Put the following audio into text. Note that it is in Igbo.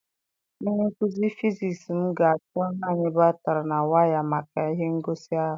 Onye nkuzi fịzis m ga-achọ naanị batrị na waya maka ihe ngosi ahụ.